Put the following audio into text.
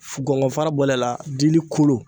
F gɔŋɔn fara bɔlen a la dili kolo